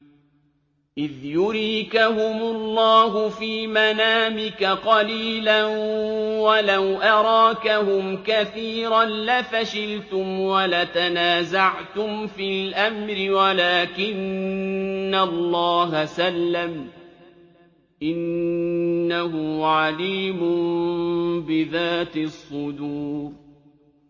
إِذْ يُرِيكَهُمُ اللَّهُ فِي مَنَامِكَ قَلِيلًا ۖ وَلَوْ أَرَاكَهُمْ كَثِيرًا لَّفَشِلْتُمْ وَلَتَنَازَعْتُمْ فِي الْأَمْرِ وَلَٰكِنَّ اللَّهَ سَلَّمَ ۗ إِنَّهُ عَلِيمٌ بِذَاتِ الصُّدُورِ